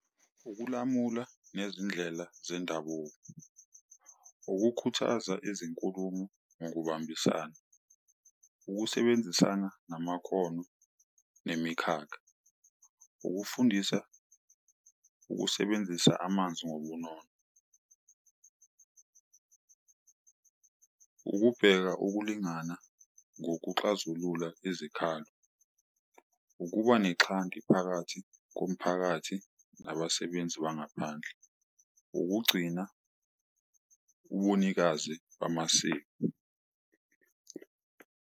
Ukulamula nezindlela zendabuko, ukukhuthaza izinkulumo nokubambisana, ukusebenzisana namakhono nemikhakha, ukufundisa ukusebenzisa amanzi ngobunono, ukubheka ukulingana ngokuxazulula izikhalo, ukuba nexhanti phakathi komphakathi nabasebenzi bangaphandle, ukugcina ubunikazi bamasiko.